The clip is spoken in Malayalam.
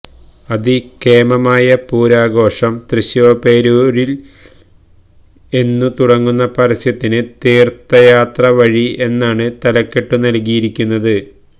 അതികേമമായ പൂരാഘോഷം തൃശ്ശിവപേരൂരില് എന്നു തുടങ്ങുന്ന പരസ്യത്തിന് തീര്ത്ഥയാത്ര വഴി എന്നാണ് തലക്കെട്ടുനല്കിയിരിക്കുന്നത്